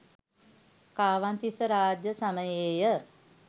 කාවන්තිස්ස රාජ්‍ය සමයේ ය.